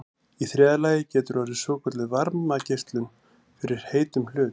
í þriðja lagi getur orðið svokölluð varmageislun frá heitum hlut